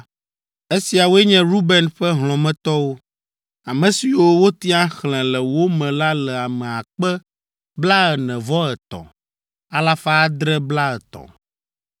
Esiawoe nye Ruben ƒe hlɔ̃metɔwo; ame siwo wotia xlẽ le wo me la le ame akpe blaene-vɔ-etɔ̃, alafa adre blaetɔ̃ (43,730).